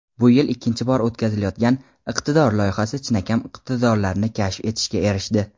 Bu yil ikkinchi bor o‘tkazilayotgan "Iqtidor" loyihasi chinakam iqtidorlarni kashf etishga erishdi.